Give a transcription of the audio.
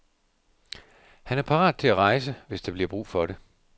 Han er parat til at rejse, hvis der bliver brug for det.